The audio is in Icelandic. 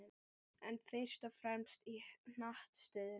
En fyrst og fremst í hnattstöðunni.